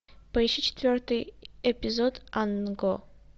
поищи четвертый эпизод ан го